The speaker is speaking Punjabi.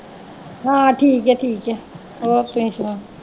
ਹਾਂ ਠੀਕ ਐ ਠੀਕ ਐ। ਹੋਰ ਤੁਸੀ ਸੁਣਾਓ।